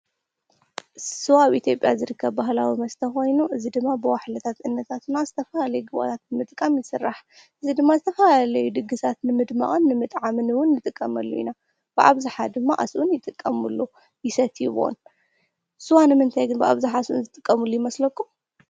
ስዋ ኣብ ኢትዮትጵያ ዝርከብ ባህላዊ መስተ ኾይኑ እዚ ድማ ብዋሕለታት እኖታትና ዝተፋላለዩ ግዋታት ንምጥቃም ይስራሕ፡፡ እዚ ድማ ዝተፋ ለይ ድግሳት ንምድመኣን ንምጥዓምን ውን ንጥቀመሉ ኢና ብኣብዙሓ ድማ ኣስብኡን ይጥቀሙሉ ይሰትዩን፡፡ ስዋ ንምንታይ ግን ብኣብዝሓ ኣስቡኡን ዝጥቀሙሉ ይመስለኩም?